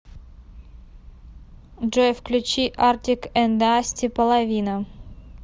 джой включи артик энд асти половина